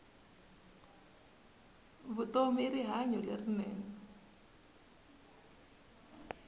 vutomi i rihanyu lerinene